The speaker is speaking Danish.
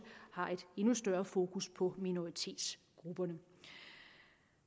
har et endnu større fokus på minoritetsgrupperne